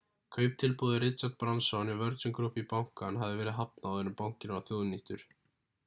kauptilboði richard branson hjá virgin group í bankann hafði verið hafnað áður en bankinn var þjóðnýttur